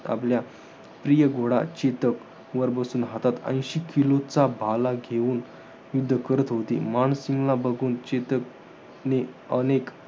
आपला प्रिय घोडा, चेतक वर बसून हातात ऐंशी किलोचा भाला घेऊन युध्द करत होते. मानसिंगला बघून चेतकने अनेक